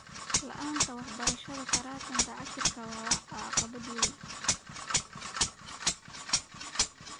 La'aanta waxbarashada taranta casriga ah waa caqabad weyn.